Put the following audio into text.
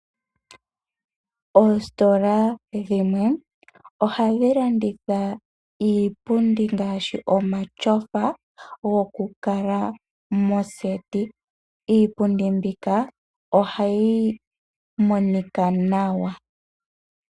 Oositola dhimwe ohadhi landitha iipundi ngaashi omatyofa, gokukala moseti. Iipundi mbika ohayi monika nawa.